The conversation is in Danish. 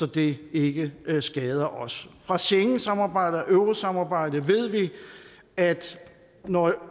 det ikke skader os fra schengensamarbejdet og eurosamarbejdet ved vi at når